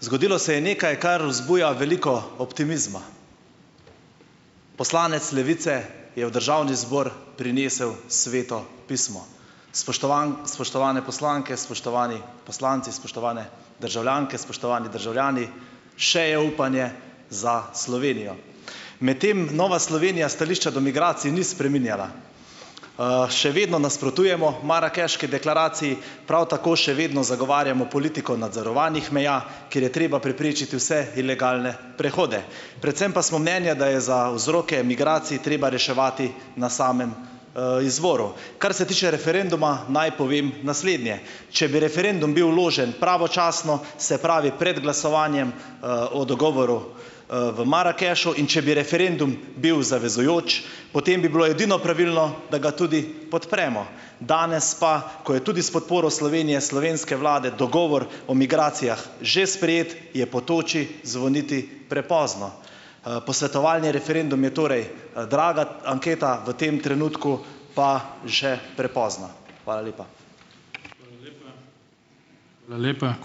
Zgodilo se je nekaj, kar vzbuja veliko optimizma. Poslanec Levice je v državni zbor prinesel Sveto pismo, spoštovane poslanke, spoštovani poslanci, spoštovane državljanke, spoštovani državljani, še je upanje za Slovenijo. Medtem Nova Slovenija stališča do migracij ni spreminjala. Še vedno nasprotujemo marakeški deklaraciji, prav tako še vedno zagovarjamo politiko nadzorovanih meja, ker je treba preprečiti vse ilegalne prehode. Predvsem pa smo mnenja, da je za vzroke migracij treba reševati na samem, izvoru. Kar se tiče referenduma, naj povem naslednje. Če bi referendum bil vložen pravočasno, se pravi pred glasovanjem, o dogovoru, v Marakešu, in če bi referendum bil zavezujoč, potem bi bilo edino pravilno, da ga tudi podpremo. Danes pa, ko je tudi s podporo Slovenije, slovenske vlade dogovor o migracijah že sprejet, je po toči zvoniti prepozno. posvetovalni referendum je torej, draga anketa, v tem trenutku pa še prepozna. Hvala lepa.